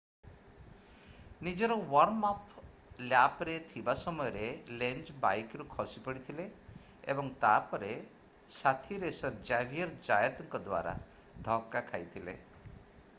ନିଜର warm up ଲ୍ୟାପ୍‌ରେ ଥିବା ସମୟରେ ଲେଞ୍ଜ ବାଇକ୍‌ରୁ ଖସିପଡ଼ିଥିଲେ ଏବଂ ତା’ପରେ ସାଥୀ ରେସର୍ ଜାଭିୟର୍ ଜାୟତଙ୍କ ଦ୍ୱାରା ଧକ୍କା ଖାଇଥିଲେ।